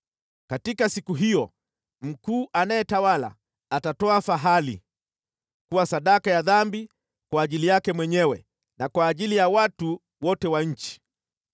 Katika siku hiyo mkuu anayetawala atatoa fahali kuwa sadaka ya dhambi kwa ajili yake mwenyewe na kwa ajili ya watu wote wa nchi.